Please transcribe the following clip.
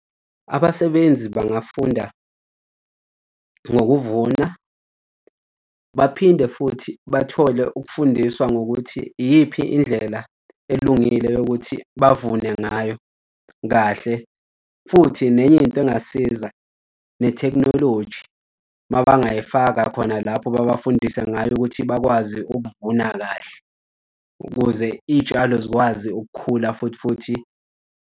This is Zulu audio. Abasebenzi bangafunda ngokuvuna baphinde futhi bathole ukufundiswa ngokuthi iyiphi indlela elungile yokuthi bavune ngayo, kahle. Futhi nenye into engasiza nethekhinoloji mabayifaka khona lapho babafundise ngayo ukuthi bakwazi ukuvuna kahle ukuze iy'tshalo zikwazi ukukhula futhi futhi.